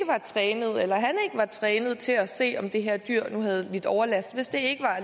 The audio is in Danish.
var trænet til at se om det her dyr nu havde lidt overlast